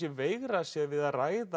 veigrað sér við að ræða